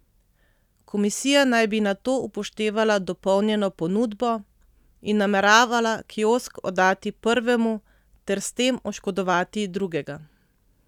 Komisija naj bi nato upoštevala dopolnjeno ponudbo in nameravala kiosk oddati prvemu ter s tem oškodovati drugega.